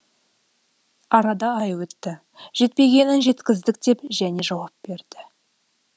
арада ай өтті жетпегенін жеткіздік деп және жауап берді